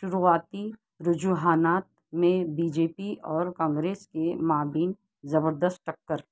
شروعاتی رجحانات میں بی جے پی اور کانگریس کے مابین زبردست ٹکر